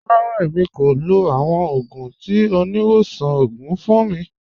Rárá, èmi kò lọ̀ awọn ogun tí oníwọ̀sàn ogun fun mi.